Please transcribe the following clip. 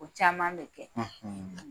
O caman bɛ kɛ.